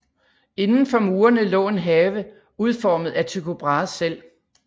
Indenfor murene lå en have udformet af Tycho Brahe selv